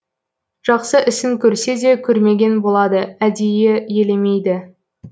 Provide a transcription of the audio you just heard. жақсы ісін көрсе де көрмеген болады әдейі елемейді